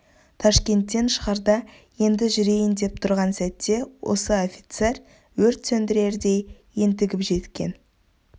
ташкенттен шығарда енді жүрейін деп тұрған сәтте осы офицер өрт сөндірердей ентігіп жеткен